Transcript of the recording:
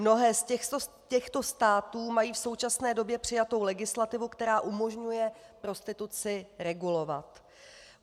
Mnohé z těchto států mají v současné době přijatou legislativu, která umožňuje prostituci regulovat.